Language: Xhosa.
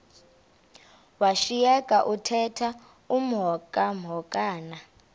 washiyeka uthemba emhokamhokana